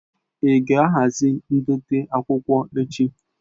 Ị ga-ahazi ndote akwụkwọ echi?